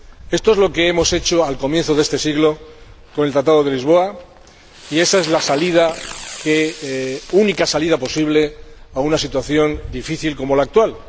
Esto es lo que hemos hecho al comienzo de este siglo con el Tratado de Lisboa y esa es la única salida posible a una situación difícil como la actual.